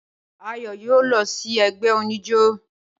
Ayọ̀ yóò lọ sí ẹgbẹ́ oníjó.